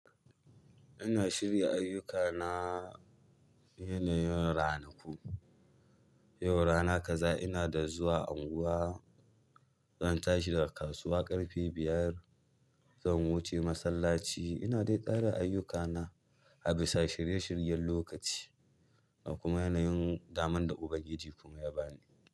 Ina shirya ayyuka na yanayin ranaku. Yau rana kaza ina da zuwa anguwa, zan tashi daga kasuwa ƙarfe biyar, zan wuce masallaci. Ina dai tsara ayyukana a bisa shirye shiryen lokaci da kuma yanayin daman da Ubangiji kuma ya bani.